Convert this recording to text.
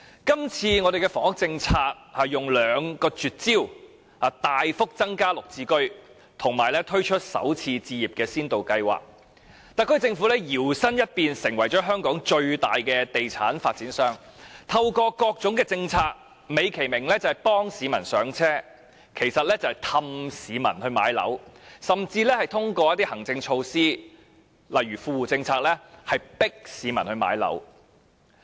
今次的房屋政策有兩個絕招：大幅增加"綠置居"及推出"港人首次置業先導計劃"，特區政府搖身一變，成為香港最大的地產發展商，透過各種政策，美其名幫市民上車，實質是哄市民買樓，甚至通過一些行政措施，例如富戶政策，強迫市民買樓。